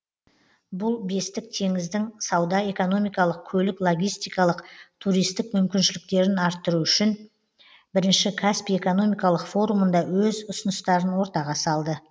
бұл бестік теңіздің сауда экономикалық көлік логистикалық туристік мүмкіншіліктерін арттыру үшін бірінші каспий экономикалық форумында өз ұсыныстарын ортаға салды